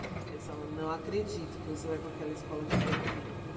Eles falam, não acredito que você vai para aquela escola de branquinho.